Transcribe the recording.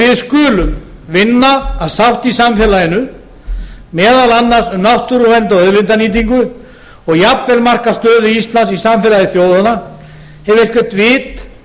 við skulum vinna að sátt í samfélaginu meðal annars um náttúruvernd og auðlindanýtingu og jafnvel marka stöðu íslands í samfélagi þjóðanna ef eitthvert vit